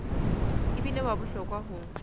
e bile wa bohlokwa ho